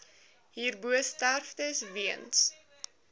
hierbo sterftes weens